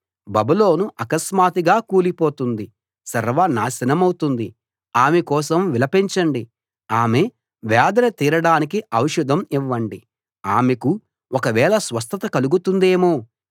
బబులోను అకస్మాత్తుగా కూలిపోతుంది సర్వనాశనమౌతుంది ఆమె కోసం విలపించండి ఆమె వేదన తీరడానికి ఔషధం ఇవ్వండి ఆమెకు ఒకవేళ స్వస్థత కలుగుతుందేమో